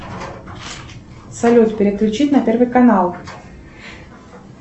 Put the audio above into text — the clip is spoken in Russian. салют переключить на первый канал